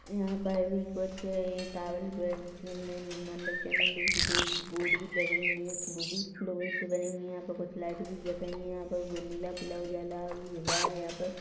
यहाँ पर ये कुछ टावर एक अ चैनल गेट मतलब ब बोर्ड भी लगे हुए हैं वो भी लोहे से बनी हुई यहाँ पर कुछ लाइट भी जल रही हैं यहाँ पर कोई नीला-पीला उजाला हो रहा हैं यहाँ पे--